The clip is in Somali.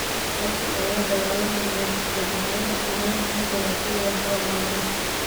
Halkii ay la dagaalami lahayd jabhadaha, Suudaan waxay dooratay wadahadal nabadeed.